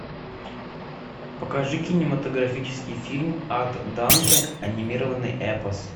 покажи кинематографический фильм от данте анимированный эпос